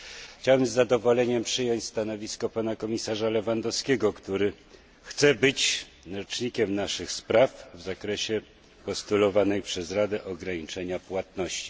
Chciałbym z zadowoleniem przyjąć stanowisko pana komisarza Lewandowskiego, który chce być rzecznikiem naszych spraw w zakresie postulowanego przez Radę ograniczenia płatności.